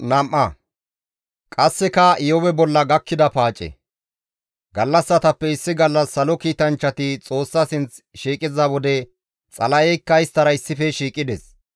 Gallassatappe issi gallas salo kiitanchchati Xoossa sinth shiiqiza wode Xala7eykka isttara issife shiiqides.